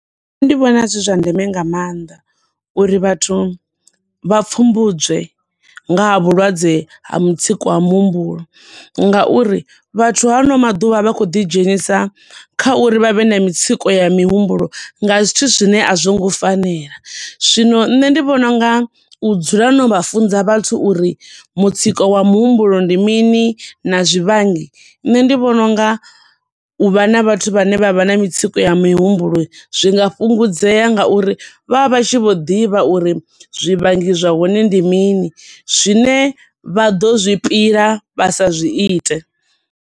Nṋe ndi vhona zwi zwa ndeme nga maanḓa uri vhathu vha pfumbudzwe nga ha vhulwadze ha mutsiko wa muhumbulo ngau uri vhathu hano maḓuvha vha khou ḓi dzhenisa kha uri vhavhe na mitsiko ya mihumbulo nga zwithu zwine a zwongo fanela. Zwino nṋe ndi vhona unga u dzula no vha funza vhathu uri mutsiko wa muhumbulo ndi mini, na zwivhangi. Nṋe ndi vhona unga uvha na vhathu vhane vha vha na mitsiko ya mihumbulo zwi nga fhungudzea nga uri vha vha tshi vho ḓivha uri zwivhangi zwa hone ndi mini, zwine vha do zwi pila, vha sa zwi ite.